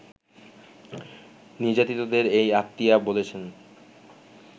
নির্যাতিতদের এই আত্মীয়া বলছেন